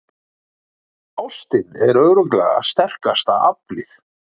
Ástin er örugglega sterkasta aflið.